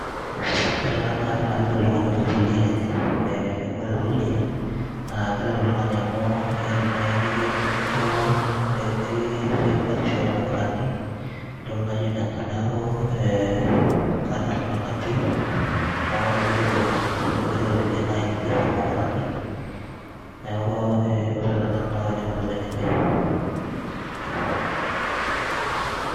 ore ena naa kaidim atejo oltung'ani orikito oldia lenye eh, ore taa oldia naa keret oltung'ani amu ekindim naaji nikincho nikirishie batisho ormukurani intokitin naijo nena neeku eh, kanyorr nanu ena pii amu ekeret oltung'ani ekiret oldia naaji nikirishie irmukurani neeku eh, ore te nanu naa kaidim atejo nejia.